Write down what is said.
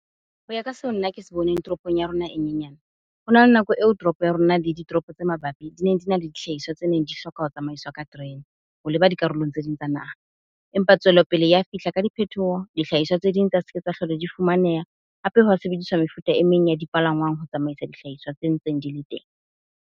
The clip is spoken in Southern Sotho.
Ho ya ka seo nna ke se boneng toropong ya rona e nyenyane, ho na le nako eo toropo ya rona le ditoropo tse mabapi di neng di na le dihlahiswa tse neng di hloka ho tsamaiswa ka terene, ho leba dikarolong tse ding tsa naha. Empa tswelopele ya fihla ka diphethoho, dihlahiswa tse ding tsa se ke tsa hlola di fumaneha. Hape ha sebediswa mefuta e meng ya dipalangwang ho tsamaisa dihlahiswa tse ntseng di le teng.